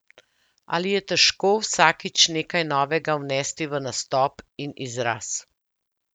Ali je težko vsakič nekaj novega vnesti v nastop in izraz?